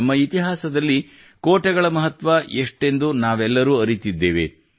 ನಮ್ಮ ಇತಿಹಾಸದಲ್ಲಿ ಕೋಟೆಗಳ ಮಹತ್ವ ಎಷ್ಟೆಂದು ನಾವೆಲ್ಲರೂ ಅರಿತಿದ್ದೇವೆ